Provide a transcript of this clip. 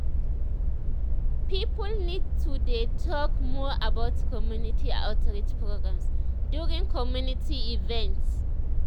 people need to to dey talk more about community outreach programs during community events.